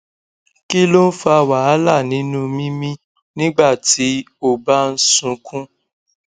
kí ló ń fa wàhálà nínú mímí nígbà tí o bá ń sunkún